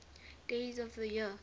days of the year